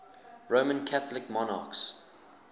roman catholic monarchs